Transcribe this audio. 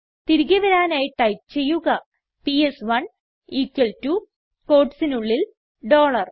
തിരികെ വരാനായി ടൈപ്പ് ചെയ്യുക പിഎസ്1 equal ടോ quotesനുള്ളിൽ ഡോളർ